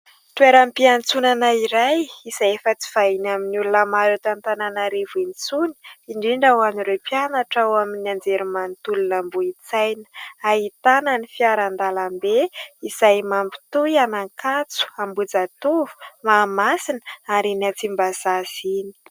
Toeram-piantsonana iray izay efa tsy vahiny amin'ny olona maro eto Antananarivo intsony indrindra ho an'ireo mpianatra ao amin'ny anjerimanontolo an'Ambohintsaina. Ahitana ny fiaran-dalambe izay mampitohy an'Ankatso-Ambohijatovo-Mahamasina ary iny an-Tsimbazaza iny.